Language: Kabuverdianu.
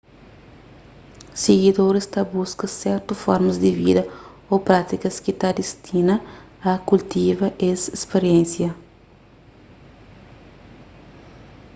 sigidoris ta buska sertu formas di vida ô prátikas ki ta distina a kultiva es spiriénsia